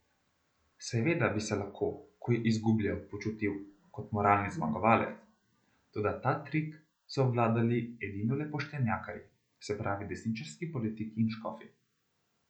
Seveda bi se lahko, ko je izgubljal, počutil kot moralni zmagovalec, toda ta trik so obvladali edinole poštenjakarji, se pravi desničarski politiki in škofi.